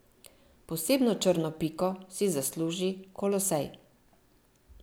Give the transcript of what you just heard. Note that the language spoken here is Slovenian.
Posebno črno piko si zasluži Kolosej.